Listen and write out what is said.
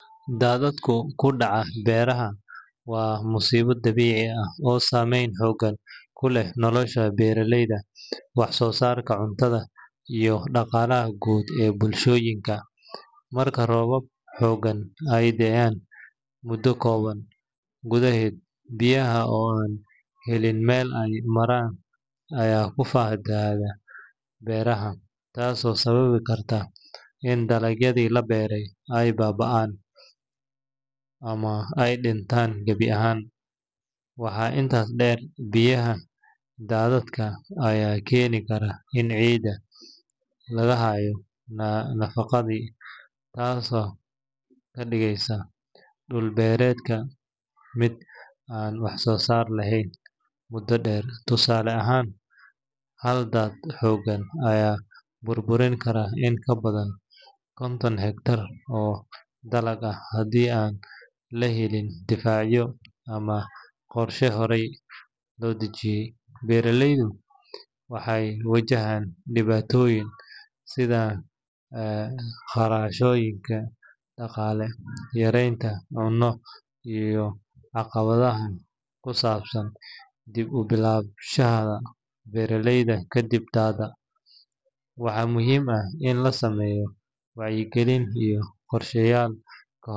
Shaaha madow waa cabitaan caan ah oo ay dad badan jecel yihiin, waxaana jira noocyo kala duwan oo dadku doorbidaan iyadoo ku xiran dhadhanka, tayada iyo sida loo diyaariyo. Dad badan waxay doorbidaan shaaha madow ee qadhaadh yar oo caraf leh, gaar ahaan noocyada laga keeno Hindiya, Sri Lanka ama Kenya oo leh tayo sare iyo dhadhan xooggan. Qaar kale waxay jecel yihiin shaaha madow ee dhulka laga beerto sida shaaha Buuraha ama shaaha la yiraahdo “Kericho Gold” maadaama uu yahay mid leh dhadhan dabiici ah oo aan lahayn waxyaabo lagu daray. Shaaha la isku darsado caano iyo sonkor ayaa sidoo kale caan ka ah bulshada, waxaana doorbida dadka jecel dhadhan macaan iyo cabitaan kulul oo dejin leh. Shaaha madow wuxuu dadka ka caawiyaa in ay feejignaadaan, gaar ahaan subaxdii ama marka daal jiro, wuxuuna leeyahay faa’iidooyin caafimaad sida yareynta bararka iyo hagaajinta wareegga dhiigga. Dadka qaar waxay aaminsan yihiin in shaaha madow uu ka fiican yahay cabitaanada kale sida kafee sababtoo ah wuxuu leeyahay saameyn deggan oo aan qofka kicin badan gelin.